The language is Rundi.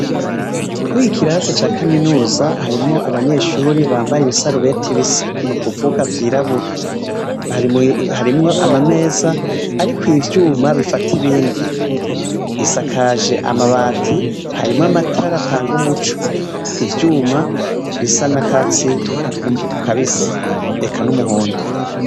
Mw'iki kirasi ca kaminuza harimwo abanyeshuri bambaye ibisarubeti bisa n'ukuvuga vyirabura, harimwo amameza ariko ivyuma bifata ibindi, isakaje amabati harimwo amatara atanga umuco, ivyuma bisa n'akatsi kabisi eka n'umuhondo.